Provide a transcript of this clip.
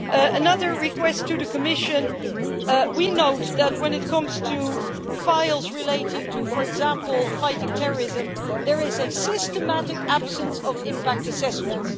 Another request to the Commission we note that when it comes to files relating to, for example, fighting terrorism, there is a systematic absence of impact assessments.